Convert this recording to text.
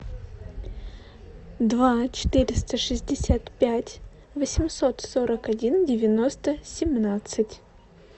два четыреста шестьдесят пять восемьсот сорок один девяносто семнадцать